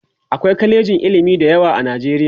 akwai kwalejin ilimi da yawa a nijeriya